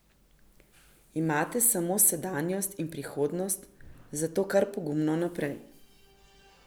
Imate samo sedanjost in prihodnost, zato kar pogumno naprej.